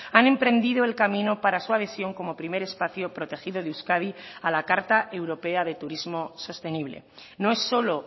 han emprendido el camino para su adhesión como primer espacio protegido de euskadi a la carta europea de turismo sostenible no es solo